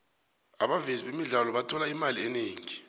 abavezi bemidlalo bathola imali eningi